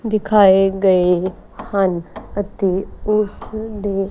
ਦਿਖਾਏ ਗਏ ਹਨ ਅਤੇ ਉਸ ਦੇ--